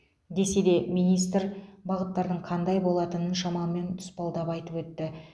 десе де министр бағыттардың қандай болатынын шамамен тұспалдап айтып өтті